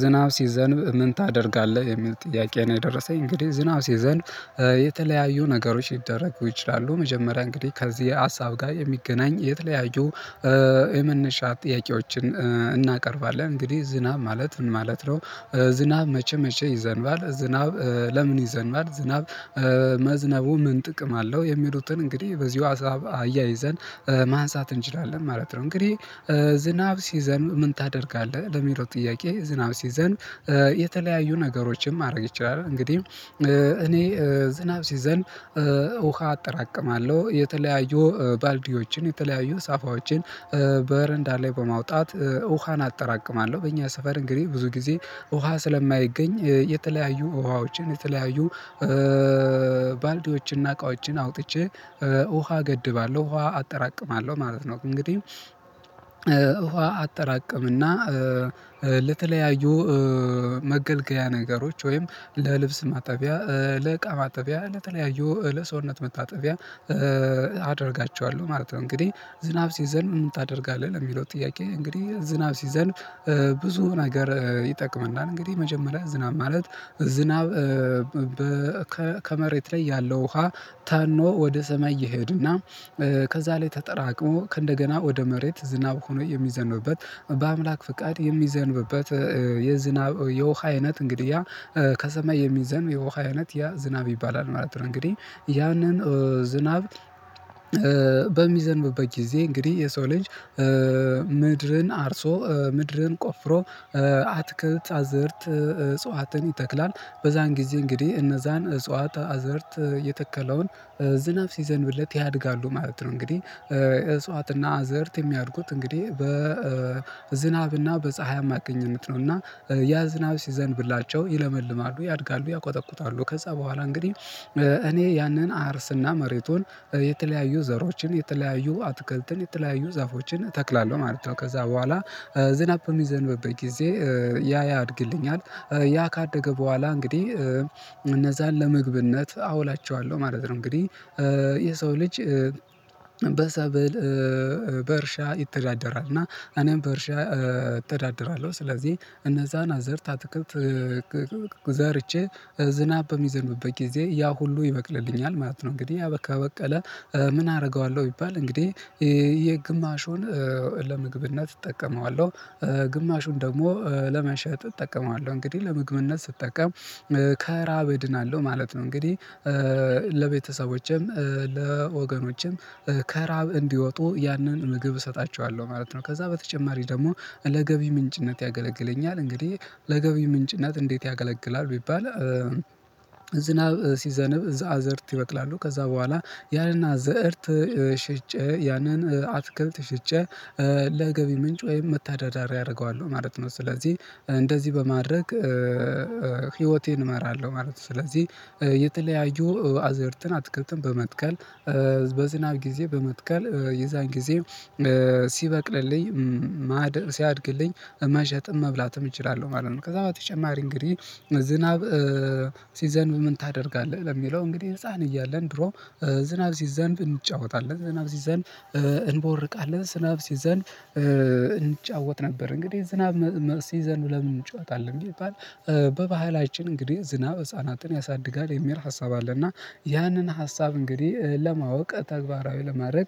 ዝናው ሲዘንብ ምን ታደርጋለህ የሚል ጥያቄ ነው? የደረሰኝ እንግዲህ ዝናው ሲዘንብ የተለያዩ ነገሮች ሊደረጉ ይችላሉ። መጀመሪያ እንግዲህ ከዚህ ሀሳብ ጋር የሚገናኝ የተለያዩ የመነሻ ጥያቄዎችን እናቀርባለን እንግዲህ ዝናብ ማለት ምን ማለት ነው? ዝናብ መቼ መቼ ይዘንባል ዝናብ ለምን ይዘንባል ዝናብ መዝነቡ ምን ጥቅም አለው የሚሉትን እንግዲህ በዚሁ ሀሳብ አያይዘን ማንሳት እንችላለን ማለት ነው። እንግዲህ ዝናብ ሲይዘንብ ምን ታደርጋለህ ለሚለው ጥያቄ ዝናብ ሲዘንብ የተለያዩ ነገሮችን ማድረግ ይችላል። እንግዲህ እኔ ዝናብ ሲዘንብ ውሃ አጠራቅማለሁ የተለያዩ ባልዲዎችን የተለያዩ ሳፋዎችን በረንዳ ላይ በማውጣት ውሃን አጠራቅማለሁ። በእኛ ስፈር እንግዲህ ብዙ ጊዜ ውሃ ስለማይገኝ የተለያዩ ውሃዎችን የተለያዩ ባልዲዎችንና እቃዎችን አውጥቼ ውሃ እገድባለሁ ውሃ አጠራቅማለሁ ማለት ነው። እንግዲህ ውሃ አጠራቅምና ለተለያዩ መገልገያ ነገሮች ወይም ለልብስ ማጠቢያ ለእቃ ማጠቢያ ለተለያዩ ለሰውነት መታጠቢያ አደርጋቸዋለሁ ማለት ነው። እንግዲህ ዝናብ ሲዘንብ ምን ታደርጋለህ ለሚለው ጥያቄ እንግዲህ ዝናብ ሲዘንብ ብዙ ነገር ይጠቅመናል። እንግዲህ መጀመሪያ ዝናብ ማለት ዝናብ ከመሬት ላይ ያለው ውሃ ተኖ ወደ ሰማይ እየሄድና ከዛ ላይ ተጠራቅሞ ከእንደገና ወደ መሬት ዝናብ ሆኖ የሚዘንብበት በአምላክ ፍቃድ የሚዘንብበት የዝናብ የውሃ አይነት እንግዲህ ያ ከሰማይ የሚዘንብ የውሃ አይነት ያ ዝናብ ይባላል ማለት ነው። እንግዲህ ያንን ዝናብ በሚዘንብበት ጊዜ እንግዲህ የሰው ልጅ ምድርን አርሶ ምድርን ቆፍሮ አትክልት አዘርት እጽዋትን ይተክላል በዛን ጊዜ እንግዲህ እነዛን እጽዋት አዘርት የተከለውን ዝናብ ሲዘንብለት ያድጋሉ ማለት ነው። እንግዲህ እፅዋትና አዘርት የሚያድጉት እንግዲህ በዝናብና በፀሀይ አማካኝነት ነው። እና ያ ዝናብ ሲዘንብላቸው ይለመልማሉ ያድጋሉ ያቆጠቁታሉ ከዛ በኋላ እንግዲህ እኔ ያንን አርስና መሬቱን የተለያዩ ዘሮችን የተለያዩ አትክልትን የተለያዩ ዛፎችን እተክላለሁ ማለት ነው። ከዛ በኋላ ዝናብ በሚዘንብበት ጊዜ ያ ያድግልኛል ያ ካደገ በኋላ እንግዲህ እነዛን ለምግብነት አውላቸዋለሁ ማለት ነው። እንግዲህ የሰው ልጅ በሰብል በእርሻ ይተዳደራል እና እኔም በእርሻ እተዳደራለሁ ስለዚህ እነዛን አዘርት ትክክል ዘርቼ ዝናብ በሚዘንብበት ጊዜ ያ ሁሉ ይበቅልልኛል ማለት ነው። እንግዲህ ያበቃ ከበቀለ ምን አደርገዋለሁ ቢባል እንግዲህ የግማሹን ለምግብነት እጠቀመዋለሁ ግማሹን ደግሞ ለመሸጥ እጠቀመዋለሁ እንግዲህ ለምግብነት ስጠቀም ከእራብ እድናለሁ ማለት ነው። እንግዲህ ለቤተሰቦችም ለወገኖችም ከእራብ እንዲወጡ ያንን ምግብ እሰጣቸዋለሁ ማለት ነው። ከዛ በተጨማሪ ደግሞ ለገቢ ምንጭነት ያገለግለኛል እንግዲህ ለገቢ ምንጭነት እንዴት ያገለግላል? ቢባል ዝናብ ሲዘንብ እዛ አዘርት ይበቅላሉ ከዛ በኋላ ያንን አዘርት ሽጬ ያንን አትክልት ሽጬ ለገቢ ምንጭ ወይም መተዳደሪያ አደርገዋለሁ ማለት ነው። ስለዚህ እንደዚህ በማድረግ ህይወቴን እመራለሁ ማለት ነው። ስለዚህ የተለያዩ አዘርትን አትክልትን በመትከል በዝናብ ጊዜ በመትከል የዛን ጊዜ ሲበቅልልኝ ማደር ሲያድግልኝ መሸጥም መብላትም እችላለሁ ማለት ነው። ከዛ በተጨማሪ እንግዲህ ዝናብ ሲዘንብ ምን ታደርጋለህ ለሚለው እንግዲህ ህፃን እያለን ድሮ ዝናብ ሲዘንብ እንጫወታለን ዝናብ ሲዘንብ እንቦርቃለን ስናብ ሲዘንብ እንጫወት ነበር እንግዲህ ዝናብ ሲዘንብ ለምን እንጫወታለን? ቢባል በባህላችን እንግዲህ ዝናብ ህፃናትን ያሳድጋል የሚል ሀሳብ አለና ያንን ሀሳብ እንግዲህ ለማወቅ ተግባራዊ ለማድረግ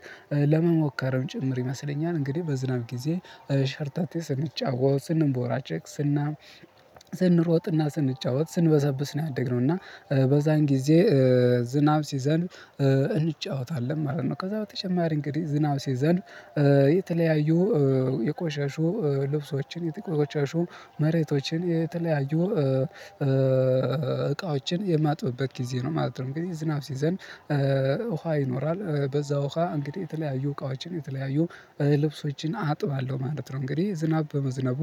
ለመሞከርም ጭምር ይመስለኛል እንግዲህ በዝናብ ጊዜ ሸርታቴ ስንጫወት ስንቦራጭቅ ስና ስንሮጥና ስንጫወት ስንበሰብስ ነው ያደግነው እና በዛን ጊዜ ዝናብ ሲዘንብ እንጫወታለን ማለት ነው። ከዛ በተጨማሪ እንግዲህ ዝናብ ሲዘንብ የተለያዩ የቆሸሹ ልብሶችን የቆሸሹ መሬቶችን የተለያዩ እቃዎችን የማጥበበት ጊዜ ነው ማለት ነው ጊዜ ዝናብ ሲዘንብ ውሃ ይኖራል በዛ ውሃ እንግዲህ የተለያዩ እቃዎችን የተለያዩ ልብሶችን አጥባለሁ ማለት ነው። እንግዲህ ዝናብ በመዝነቡ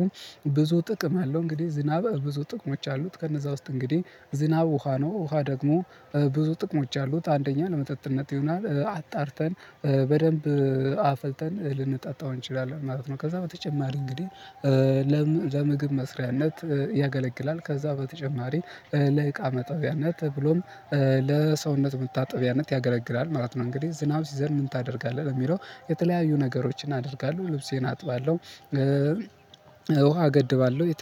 ብዙ ጥቅም አለው። እንግዲህ ዝናብ ብዙ ጥቅሞች አሉት። ከነዛ ውስጥ እንግዲህ ዝናብ ውሃ ነው ውሃ ደግሞ ብዙ ጥቅሞች አሉት አንደኛ ለመጠጥነት ይሆናል አጣርተን በደንብ አፍልተን ልንጠጣው እንችላለን ማለት ነው። ከዛ በተጨማሪ እንግዲህ ለምግብ መስሪያነት ያገለግላል ከዛ በተጨማሪ ለእቃ መጠቢያነት ብሎም ለሰውነት መታጠቢያነት ያገለግላል ማለት ነው። እንግዲህ ዝናብ ሲዘንብ ምን ታደርጋለህ የሚለው የተለያዩ ነገሮችን አደርጋለሁ ልብሴን አጥባለሁ ውሃ አገድባለሁ